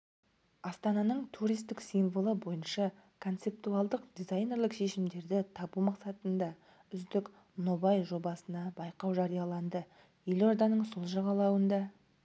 астананың туристік символы бойынша концептуалдық дизайнерлік шешімдерді табу мақсатында үздік нобай-жобасына байқау жарияланды елорданың сол жағалауында